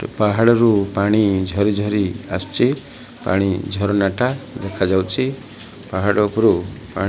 ପାହାଡ଼ରୁ ପାଣି ଝରି ଝରି ଆସୁଚି ପାଣି ଝରଣା ଟା ଦେଖା ଯାଉଛି ପାହାଡ଼ ଉପରୁ ପାଣି --